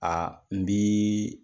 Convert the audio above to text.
n bi